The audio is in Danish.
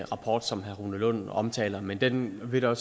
rapport som herre rune lund omtaler men den vil der